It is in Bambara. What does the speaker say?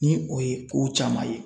Ni o ye kow caman ye.